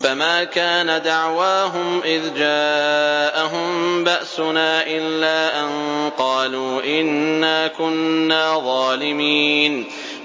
فَمَا كَانَ دَعْوَاهُمْ إِذْ جَاءَهُم بَأْسُنَا إِلَّا أَن قَالُوا إِنَّا كُنَّا ظَالِمِينَ